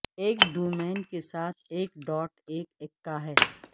ایک ڈومین کے ساتھ ایک ڈاٹ ایک اککا ہے